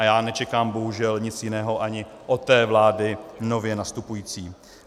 A já nečekám bohužel nic jiného ani od té vlády nově nastupující.